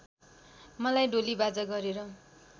मलाई डोलीबाजा गरेर